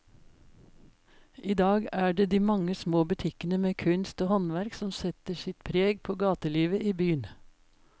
I dag er det de mange små butikkene med kunst og håndverk som setter sitt preg på gatelivet i byen.